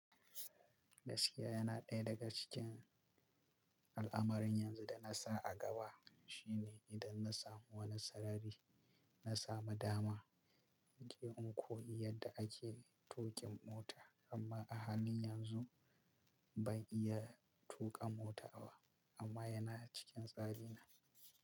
Gaskiya yana ɗaya daga cikin al'amarin yanzu da na sa a gaba shine idan na samu wani sarari, na samu dama, in mike in koyi yadda ake tuƙin mota amma a halin yanzu ban iya tuƙa mota ba amma yana cikin tsari na.